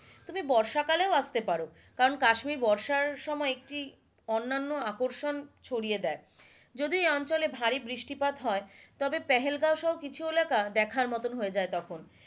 তুমি বর্ষা কালেও আস্তে পারো কারণ কাশ্মীর বর্ষার সময় একটি অন্যান আকর্ষণ ছড়িয়ে দেয় যদিও এ অঞ্চলে ভারী বৃষ্টিপাত হয় তবে পেহেলগাঁও সহ কিছু এলাকা দেখার মতো হয়ে যাই তখন,